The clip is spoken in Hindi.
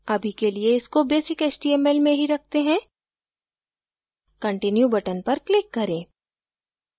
अभी के लिए इसको basic html में ही रखते हैं continue button पर click करें